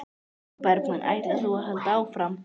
Sólveig Bergmann: Ætlar þú að halda áfram?